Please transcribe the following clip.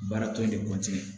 Baara tɔ in de